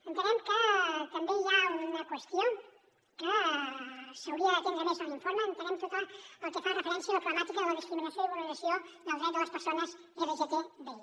entenem que també hi ha una qüestió que s’hauria d’atendre més a l’informe entenem tot el que fa referència a la problemàtica de la discriminació i vulneració del dret de les persones lgtbi